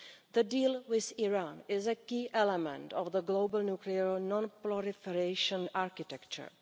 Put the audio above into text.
The deal with Iran is a key element of the global nuclear non proliferation architecture.